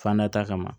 Fan da kama